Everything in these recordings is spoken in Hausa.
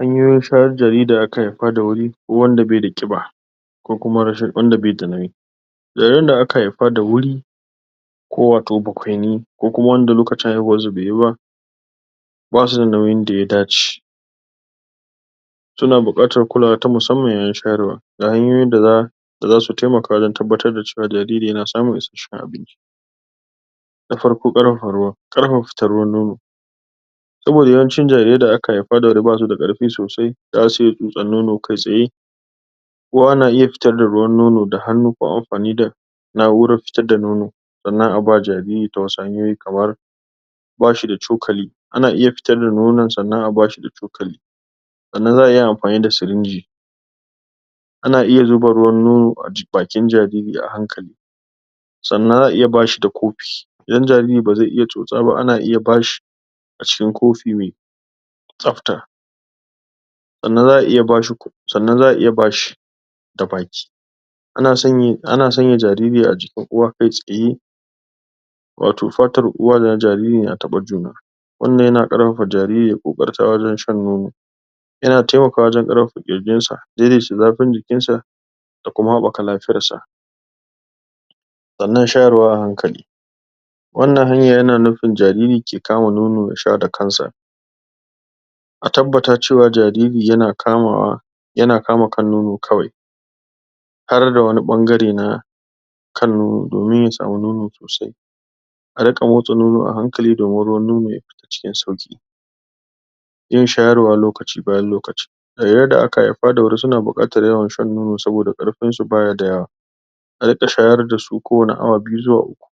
Hanyoyin shayar da jaririn da aka haifa da wuri ko wanda bai da ƙiba ko kuma wanda bai da nauyi jariran da aka haifa da wuri ko wato bakwaini ko kuma wanda lokacin haihuwansu bai yi ba basu da nauyin da ya dace suna buƙatar kulawa ta musamman yayin shayarwa da hanyoyin da zasu taimaka wajen tabbatar da cewa jariri yana samun isasshen abinci na farko ƙarfafa ruwan ƙarfafa fitan ruwan nono aboda yawancin jarirai da wuri basu da ƙarpi sosai da zasu iya tsotsan nono kai tsaye ko ana iya fitar da ruwan nono da hannu ko ampani da naʼuran fitar da nono sannan a ba jariri ta wasu hanyoyi kamar bashi da cokali ana iya fitar da nonon sannan a bashi da cokali sannan zaʼa iya ampani da sirinji ana iya zuba ruwan nono a bakin jariri a hankali sannan zaʼa iya bashi da kopi idan jariri bazai iya tsotsa ba ana iya bashi a cikin kofi mai tsapta sannan zaʼa iya bashi sannan zaʼa iya bashi da baki ana sanya jariri a jikin uwa kai tsaye wato fatar uwa da na jariri na taba juna wannan na ƙarpapa jariri ya ƙoƙarta wajen shan nono yana taimakawa wajen ƙarpapa ƙirjinsa daidaita zafin jikinsa da kuma haɓaka lafiyarsa sannan shayarwa a hankali wannan hanyan yana nufin jariri ke kama nono ya sha da kansa a tabbata cewa jariri yana kamawa yana kama kan nono kawai harda wani ɓangare na kan nono domin ya samu nono sosai a riƙa motsa nono a hankali domin ruwan nono ya fita cikin sauƙi yin shawarwa lokaci bayan lokaci jariran da aka haifa da wuri suna buƙatar yawan shan nono saboda ƙarpinsu bayi da yawa a riƙa shayar dasu kowani awa biyu zuwa uku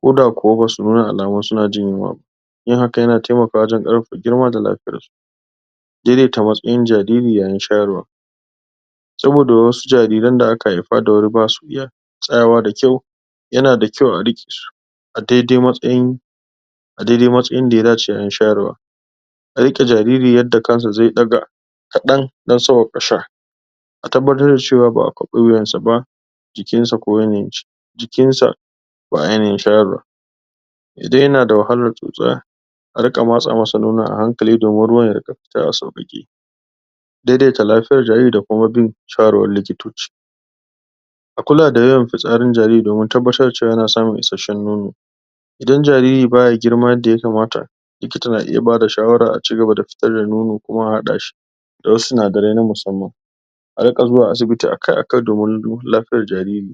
ko da kuwa basu nuna alamun suna jin yunwa ba yin haka yana taimakawa wajen ƙarpapa girma da lapiyarsu daidaita matsayin jariri yayin shayarwa saboda wasu jariran da aka haifa da wuri basu iya tsayawa da kyau yana da kyau a riƙe su a daidai matsayin a daidai matsayin da ya dace yayin shayarwa a riƙe jariri yanda kansa zai ɗaga kaɗan don sawwaƙa sha a tabbatar da cewa baʼa kwaɓe wuyansa ba jikinsa a yanayin shi jikinsa a yanayin shayarwa idan yana da wahalar tsotsa a riƙa matsa masa nonon a hankali domin ruwan ya riƙa fita a sauƙaƙe daidaita lafiyar jariri da kuma bin shawarwarin likitoci a kula da yawan fitsarin jariri domin tabbatar da cewa yana samun isasshen nono idan jariri baya girma yadda yakamata likita na iya bada shawara a cigaba da fitar da nono kuma a haɗa shi da wasu sinadarai na musamman a riƙa zuwa asibiti akai akai domin duba lafiyar jariri